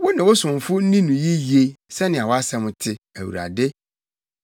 Wo ne wo somfo nni no yiye sɛnea wʼasɛm te, Awurade.